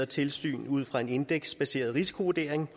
tilsyn ud fra en indeksbaseret risikovurdering